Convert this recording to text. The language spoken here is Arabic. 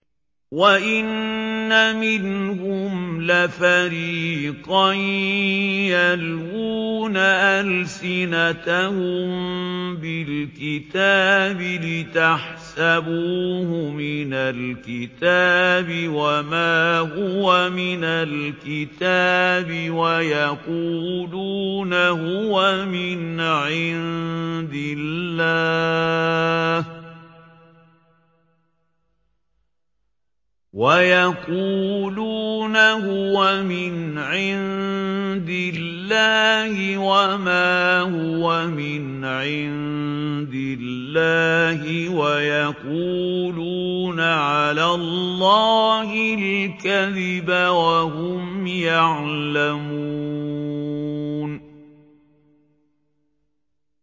وَإِنَّ مِنْهُمْ لَفَرِيقًا يَلْوُونَ أَلْسِنَتَهُم بِالْكِتَابِ لِتَحْسَبُوهُ مِنَ الْكِتَابِ وَمَا هُوَ مِنَ الْكِتَابِ وَيَقُولُونَ هُوَ مِنْ عِندِ اللَّهِ وَمَا هُوَ مِنْ عِندِ اللَّهِ وَيَقُولُونَ عَلَى اللَّهِ الْكَذِبَ وَهُمْ يَعْلَمُونَ